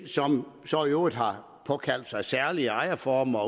som så i øvrigt har påkaldt sig særlige former